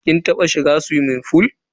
Kin taba shiga suwimin fool?